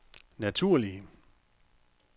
naturlige